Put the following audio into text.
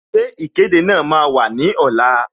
Ṣé ìkéde máa wà ní ọ̀la?